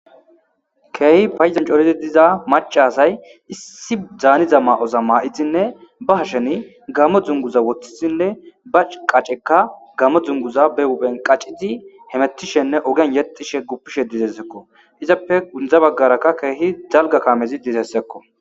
Keehi payzan corizi diza maca asay issi dzaaniza ma'oza ma'izinne ba hasheni gammo dzunguza woththisinne ba qaceka gamo dzunguza be wuphen qacizi hemettishenne ogen yexishe guppishe dizessekko izappe gundza baggarakka keehi zalga kamezi dizessekko